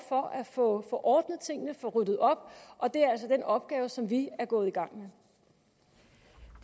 for at få ordnet tingene få ryddet op og det er altså den opgave som vi er gået i gang